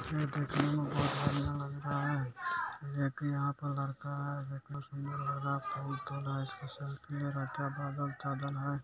यह देखने में बहुत बढ़ियां लग रहा है| एक यहाँ पर लड़का है देखने में बहुत सुंदर लग रहा है फोन से सेल्फ़ी ले रहा है क्या बादल-चदल है